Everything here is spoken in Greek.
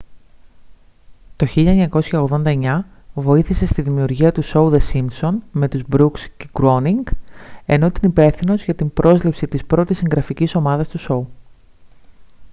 το 1989 βοήθησε στη δημιουργία του σόου the simpsons με τους μπρουκς και γκρόουνινγκ ενώ ήταν υπεύθυνος για την πρόσληψη της πρώτης συγγραφικής ομάδας του σόου